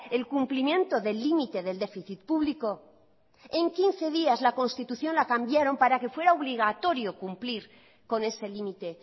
el cumplimiento del límite del déficit público en quince días la constitución la cambiaron para que fuera obligatorio cumplir con ese límite